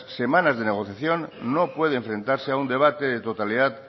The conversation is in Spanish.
semanas de negociación no puede enfrentarse a un debate de totalidad